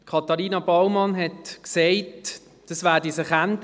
Katharina Baumann hat gesagt, das werde sich ändern.